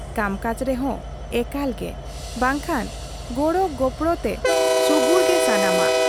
ᱠᱟᱢᱠᱟᱡᱽ ᱨᱮᱦᱚ ᱮᱠᱟᱞ ᱜᱮ ᱵᱟᱝᱠᱷᱟᱱ ᱜᱚᱲᱚ ᱜᱚᱯᱚᱲᱚᱛᱮ ᱥᱩᱜᱩᱲ ᱜᱮ ᱥᱟᱱᱟᱢᱟᱜ ᱾